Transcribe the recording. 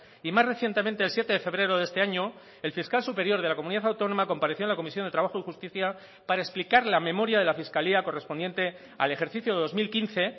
y más recientemente el siete de febrero de este año el fiscal superior de la comunidad autónoma compareció en la comisión de trabajo y justicia para explicar la memoria de la fiscalía correspondiente al ejercicio dos mil quince